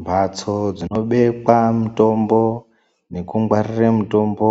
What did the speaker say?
Mbatso dzinobekwa mutombo nekungwarire mutombo